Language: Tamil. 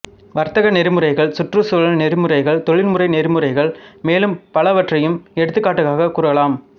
வர்த்தக நெறிமுறைகள் சுற்றுச் சூழல் நெறிமுறைகள் தொழில்முறை நெறிமுறைகள் மேலும் பலவற்றையும் எடுத்துக்காட்டாகக் கூறலாம்